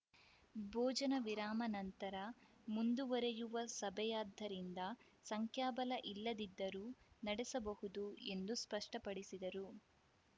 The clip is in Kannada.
ಭೋಜನ ವಿರಾಮ ನಂತರ ಮುಂದುವರೆಯುವ ಸಭೆಯಾದ್ದರಿಂದ ಸಂಖ್ಯಾಬಲ ಇಲ್ಲದಿದ್ದರೂ ನಡೆಸಬಹುದು ಎಂದು ಸ್ಪಷ್ಟಪಡಿಸಿದರು